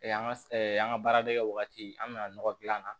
an ka an ka baaradege wagati an mi na nɔgɔ dilan a na